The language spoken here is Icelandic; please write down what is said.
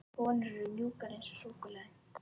Konur eru mjúkar eins og súkkulaði.